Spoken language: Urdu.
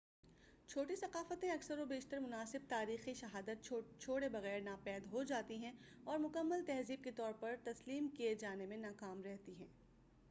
چھوٹی ثقافتیں اکثر و بیشتر مناسب تاریخی شہادت چھوڑے بغیر ناپید ہوجاتی ہیں اور مکمل تہذیب کے طور پر تسلیم کیے جانے میں ناکام رہتی ہیں